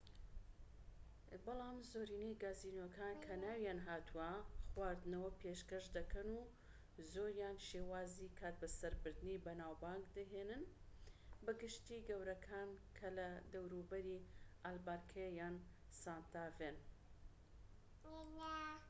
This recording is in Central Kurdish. بەلام زۆرینەی گازینۆکان کە ناویان هاتووە خواردنەوە پێشکەش دەکەن و زۆریان شێوازی کاتبەسەربردنی بەناوبانگ دەهێنن بە گشتی گەورەکان کە لە دەوروبەری ئالبەکەرکی یان سانتا فێن